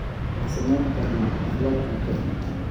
Waxaan sameyn karnaa xaflad cunto.